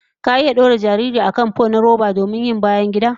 Ka iya dora jariri a kan fo na roba domin yin bayangida?